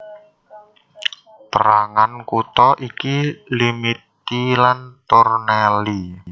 Pérangan kutha iki Limiti lan Tornelli